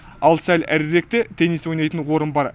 ал сәл әріректе теннис ойнайтын орын бар